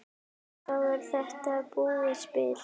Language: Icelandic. Þá er þetta búið spil.